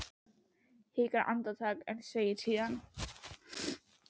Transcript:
Hann hikar andartak en segir síðan